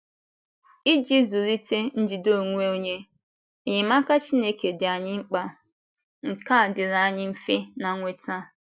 Iji zụlite njide onwe onye, enyemaka Chineke dị anyị mkpa,, nkea diri anyị mfe na nweta.